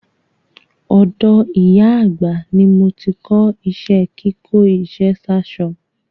Ọ̀dọ̀ ìyá àgbà ni mo ti kọ́ iṣẹ́ kíkó iṣẹ́ sáṣọ.